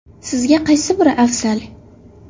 Sizga qay biri afzal?